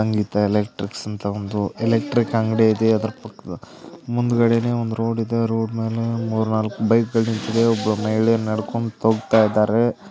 ಸಂಗೀತ electrics ಅಂತ ಒಂದು electric ಅಂಗಡಿ ಇದೆ ಅದರ ಪಕ್ಕದಲ್ಲೇ ಮುಂದಗಡೆನೆ ಒಂದು ರೋಡ್ ಅ ರೋಡ್ ಮೇಲೆ ಮೂರ್ ನಾಲ್ಕು ಬೈಕ್ ಗಳು ನಿಂತಿದೆ ಒಬ್ರು ಮಹಿಳೆ ನಡ್ಕೊಂತಾ ಹೋಗ್ತಾ ಇದಾರೆ.